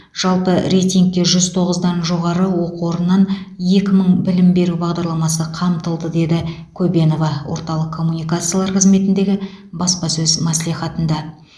жалпы рейтингте жүз тоғыздан жоғары оқу орнынан екі мың білім беру бағдарламасы қамтылды деді көбенова орталық коммуникациялар қызметіндегі баспасөз мәслихатында